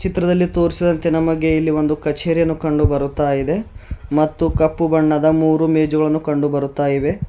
ಚಿತ್ರದಲ್ಲಿ ತೋರಿಸಿದಂತೆ ನಮಗೆ ಇಲ್ಲಿ ಒಂದು ಕಚೇರಿಯನ್ನು ಕಂಡು ಬರುತ್ತಾ ಇದೆ ಮತ್ತು ಕಪ್ಪು ಬಣ್ಣದ ಮೂರು ಮೇಜುಗಳನ್ನು ಕಂಡು ಬರುತ್ತಾ ಇವೆ.